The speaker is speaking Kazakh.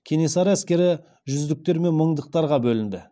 кенесары әскері жүздіктер мен мыңдықтарға бөлінді